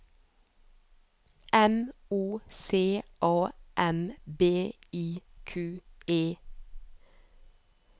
M O C A M B I Q U E